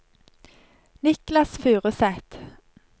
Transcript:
Niklas Furuseth